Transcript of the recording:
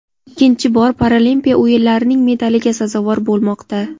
ikkinchi bor Paralimpiya o‘yinlarining medaliga sazovor bo‘lmoqda.